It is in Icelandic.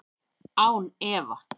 Án efa